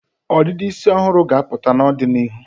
ọdịdị isi ọhụrụ ga-apụta n'ọdịnịhu.